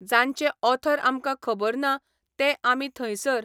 जांचे ऑथर आमकां खबर ना, ते आमी थंयसर